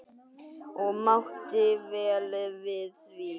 Ég mátti vel við því.